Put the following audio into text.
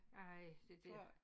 Ej det dér